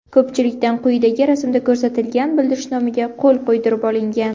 Ko‘pchilikdan quyidagi rasmda ko‘rsatilgan bildirishnomaga qo‘l qo‘ydirib olingan.